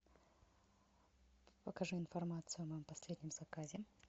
покажи информацию о моем последнем заказе